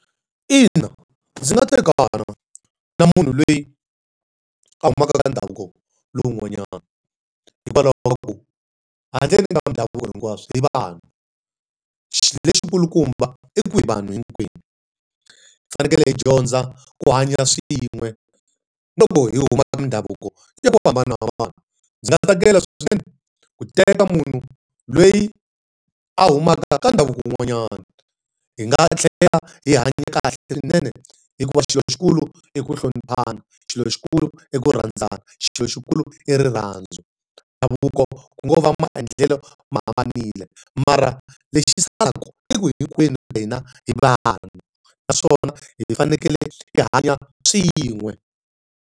Ina, ndzi nga tekana na munhu loyi a humaka ka ndhavuko lowun'wanyana. Hikwalaho ka ku handle ka ndhavuko hinkwaswo hi vanhu. Xilo lexi kulukumba i ku hi vanhu hinkwenu. Hi fanekele dyondza ku hanya swin'we, loko hi humaka ka mindhavuko ya ku hambanahambana. Ndzi nga tsakela swinene ku teka munhu loyi a humaka ka ndhavuko wun'wanyana. Hi nga tlhela hi hanya kahle swinene hikuva xilo xi kulu i ku hloniphana, xilo xi kulu i ku rhandzana, xilo xi kulu i rirhandzu. Ndhavuko ku ngo va maendlelo ma hambanile, mara lexi salaku i ku hinkwenu ka hina hi vanhu, naswona hi fanekele hi hanya swin'we.